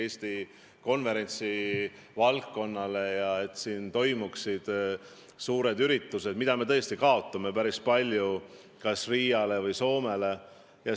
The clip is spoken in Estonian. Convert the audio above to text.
Eesti konverentsiturismi seisukohast on mõistlik, et siin toimuksid suured üritused, mida me praegu tõesti kaotame päris palju kas Riiale või Soomele.